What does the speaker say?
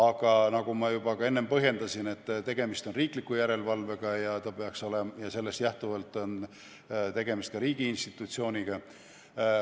Aga nagu enne juba põhjendasin, tegemist on riikliku järelevalvega ja sellest lähtuvalt ka riigi institutsiooniga.